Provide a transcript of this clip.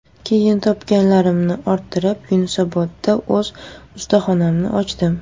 Keyin topganlarimni orttirib, Yunusobodda o‘z ustaxonamni ochdim.